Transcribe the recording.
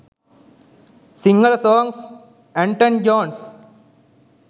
sinhala songs anton jones